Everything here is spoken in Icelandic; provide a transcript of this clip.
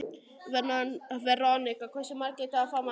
Veronika, hversu margir dagar fram að næsta fríi?